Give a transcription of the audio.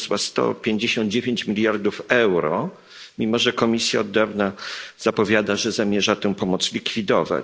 wyniosła 159 mld euro, mimo że Komisja od dawna zapowiada, że zamierza tę pomoc likwidować.